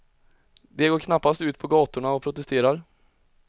De går knappast ut på gatorna och protesterar.